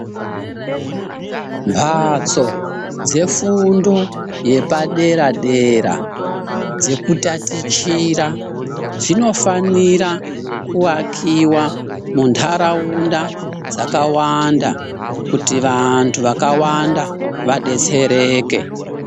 Mhatso dzefundo yepadera dera dzekutatichira dzinofanira kuakiwa munharaunda dzakawanda kuti vantu vakawanda vadetsereke.